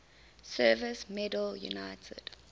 service medal united